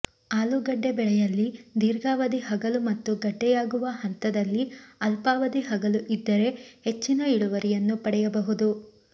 ಆಲೂಗಡ್ಡೆ ಬೆಳೆಯಲ್ಲಿ ದೀರ್ಘಾವಧಿ ಹಗಲು ಮತ್ತು ಗಡ್ಡೆಯಾಗುವ ಹಂತದಲ್ಲಿ ಅಲ್ಫಾವಧಿ ಹಗಲು ಇದ್ದರೆ ಹೆಚ್ಚಿನ ಇಳುವರಿಯನ್ನು ಪಡೆಯಬಹುದು